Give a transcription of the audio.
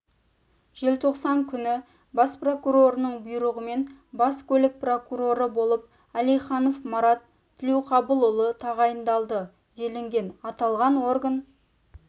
желтоқсан күні бас прокурорының бұйрығымен бас көлік прокуроры болып әлиханов марат тілеуқабылұлы тағайындалды делінген аталған орган